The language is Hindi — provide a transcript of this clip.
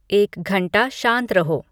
एक घंटा शांत रहो